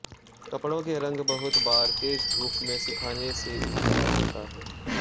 कपड़ों के रंग बहुत बार तेज धूप में सुखाने से भी चला जाता है